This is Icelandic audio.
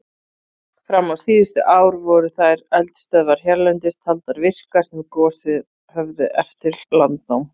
Fram á síðustu ár voru þær eldstöðvar hérlendis taldar virkar sem gosið höfðu eftir landnám.